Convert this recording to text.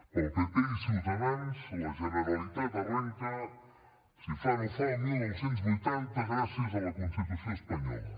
per al pp i ciutadans la generalitat arrenca si fa no fa el dinou vuitanta gràcies a la constitució espanyola